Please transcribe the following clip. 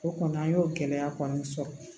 O kɔni an y'o gɛlɛya kɔni sɔrɔ